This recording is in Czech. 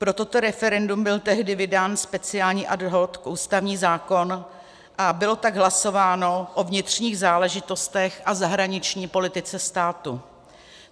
Pro toto referendum byl tehdy vydán speciální ad hoc ústavní zákon a bylo tak hlasováno o vnitřních záležitostech a zahraniční politice státu.